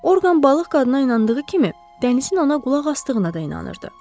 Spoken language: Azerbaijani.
Orqan balıq qadına inandığı kimi, dənizin ana qulaq asdığına da inanırdı.